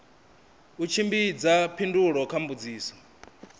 u tshimbidza phindulo kha mbudziso